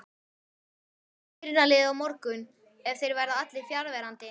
Hvernig verður byrjunarliðið á morgun ef þeir verða allir fjarverandi?